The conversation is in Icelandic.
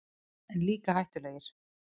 En líka hættulegir.